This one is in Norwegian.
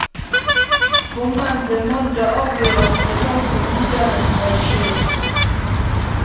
Kommende mandag avgjøres det hva som videre skal skje.